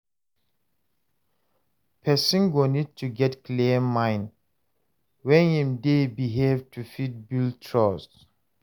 Person go need to get clear mind when im dey behave to fit build trust